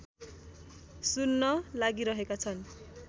सुन्न लागिरहेका छन्